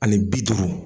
Ani bi duuru